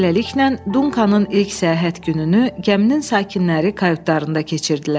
Beləliklə, Dunkanın ilk səyahət gününü gəminin sakinləri kayutlarında keçirdilər.